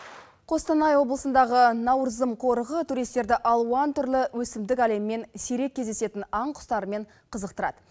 қостанай облысындағы наурызым қорығы туристерді алуан түрлі өсімдік әлемімен сирек кездесетін аң құстарымен қызықтырады